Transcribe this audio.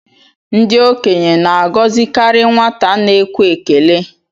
Ndị okenye na-agọzikarị nwata na-ekwe ekele